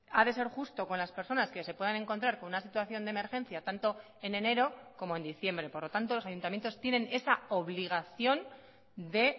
ha de ser justo con las personas que se puedan encontrar con una situación de emergencia tanto en enero como en diciembre por lo tanto los ayuntamientos tienen esa obligación de